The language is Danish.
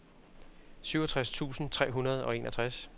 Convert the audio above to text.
syvogtres tusind tre hundrede og enogtres